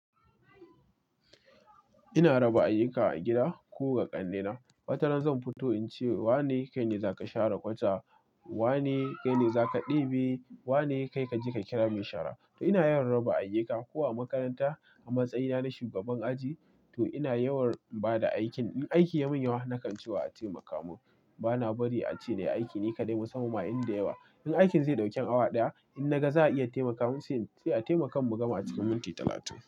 Ina raba ayyuka a gida ko ga ƙannena. Wataran zan fito in ce wane kai ne za ka share kwata, wane kai ne za ka ɗibi, wane kai ka je ka kira mai shara. Ina yawan raba ayuka ko a makaranta a matsayina na shugaban aji to ina yawan ba da aikin. In aiki ya mun yawa na kan ce wa a taimaka mun. Ba na bari a ce nayi aiki nika dai musamman ma inda yawa. In aikin zai ɗauki awa ɗaya, in na ga za a iya taimaka mun sai a taimaka mun gama a cikin minti talatin.